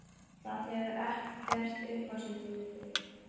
Það hefur ekkert upp á sig fyrir þig.